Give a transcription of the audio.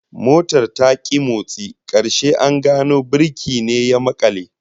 Motar ta ki motsi, karshe an gano birki ne ya makale